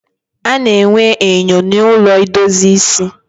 A na-enwe enyo na ụlọ idozi ịsị